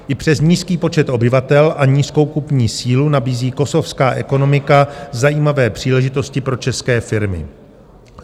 I přes nízký počet obyvatel a nízkou kupní sílu nabízí kosovská ekonomika zajímavé příležitosti pro české firmy.